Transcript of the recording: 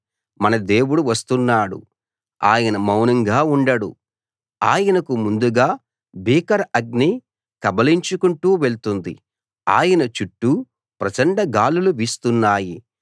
మన దేవుడు వస్తున్నాడు ఆయన మౌనంగా ఉండడు ఆయనకు ముందుగా భీకర అగ్ని కబళించుకుంటూ వెళ్తుంది ఆయన చుట్టూ ప్రచండ గాలులు వీస్తున్నాయి